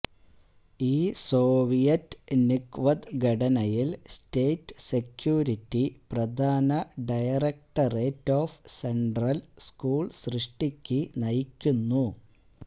ഈ Soviet NKVD ഘടനയിൽ state security പ്രധാന ഡയറക്ടറേറ്റ് ഓഫ് സെൻട്രൽ സ്കൂൾ സൃഷ്ടിക്ക് നയിക്കുന്നു